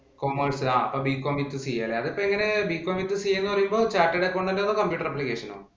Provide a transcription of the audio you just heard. Commerce ആഹ് അതിപ്പോ എങ്ങനെ Bcom withCA എന്ന് പറയുമ്പോ chattered accountant ഓ, അതോ computer application ഓ